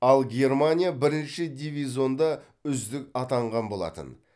ал германия бірінші дивизионда үздік атанған болатын